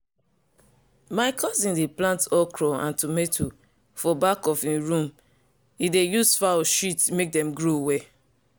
my cousin dey plant okro and tomato for back of him room e dey use fowl shit make dem grow well.